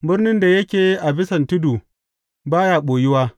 Birnin da yake a bisan tudu ba ya ɓoyuwa.